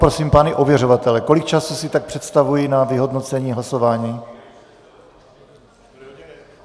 Poprosím pány ověřovatele, kolik času si tak představují na vyhodnocení hlasování?